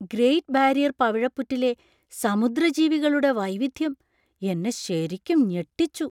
Great barrier പവിഴപ്പുറ്റിലെ സമുദ്രജീവികളുടെ വൈവിധ്യം എന്നെ ശരിക്കും ഞെട്ടിച്ചു.